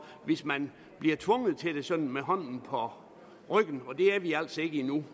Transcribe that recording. hvis man bliver tvunget til det sådan med armen vredet om på ryggen og der er vi altså ikke endnu